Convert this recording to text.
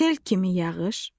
Sel kimi yağış.